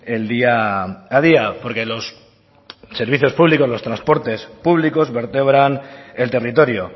el día a día porque los servicios públicos los transportes públicos vertebran el territorio